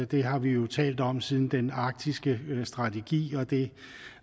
det har vi jo talt om siden den arktiske strategi og det